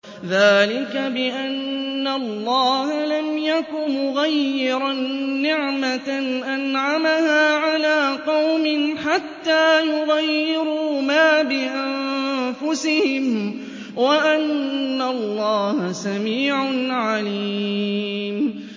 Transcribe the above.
ذَٰلِكَ بِأَنَّ اللَّهَ لَمْ يَكُ مُغَيِّرًا نِّعْمَةً أَنْعَمَهَا عَلَىٰ قَوْمٍ حَتَّىٰ يُغَيِّرُوا مَا بِأَنفُسِهِمْ ۙ وَأَنَّ اللَّهَ سَمِيعٌ عَلِيمٌ